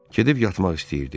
Gedib yatmaq istəyirdi.